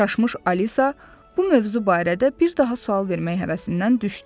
Çaşmış Alisa bu mövzu barədə bir daha sual vermək həvəsindən düşdü.